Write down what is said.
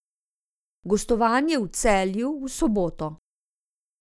Gostovanje v Celju v soboto.